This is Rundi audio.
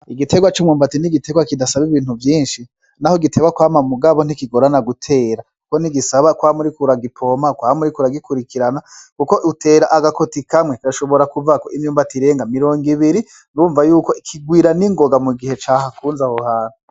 Igitegwa cumwumbati ntigisaba ibintu vyinshi naho giteba kwama mugabo ntikigorana gutera kuko ntigisaba kwama uriko uragipompa, uragikurikirana kuko utera aga koti kamwe gashobora kuvako imyumbati irenge mirongo ibiri urumva yuko kigwira ningoga mugihe cahakunze aho hantu.